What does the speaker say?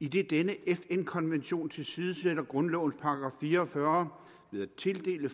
idet denne fn konvention tilsidesætter grundlovens § fire og fyrre ved at tildele